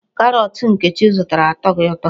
Karọọtụ Nkechi zụtara atọghị ụtọ.